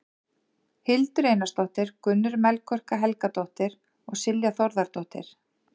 Hildur Einarsdóttir, Gunnur Melkorka Helgadóttir og Silja Þórðardóttir.